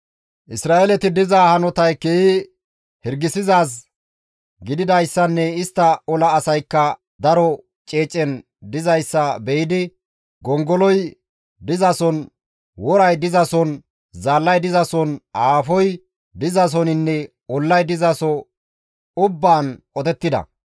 Isra7eeleti diza hanotay keehi hirgisizaaz gididayssanne istta ola asaykka daro ceecen dizayssa be7idi gongoloy dizason, woray dizason, zaallay dizason, aafoy dizasoninne ollay dizaso ubbaan qotettida.